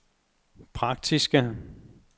praktiske